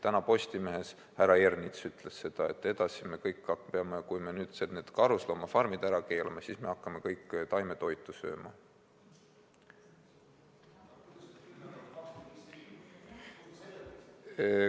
Tänases Postimehes härra Ernits ütles, et kui me need karusloomafarmid ära keelame, siis me edaspidi hakkame kõik taimetoitu sööma.